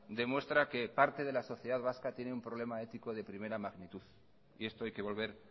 demuestra que parte de la sociedad vasca tiene una problema ético de primera magnitud y esto hay que volver